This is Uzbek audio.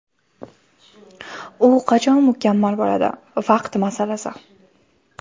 U qachon mukammal bo‘ladi, vaqt masalasi.